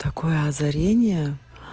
такое озарение